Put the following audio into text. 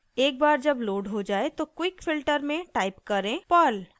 एक बार जब लोड हो जाये तो quick filter में टाइप करें perl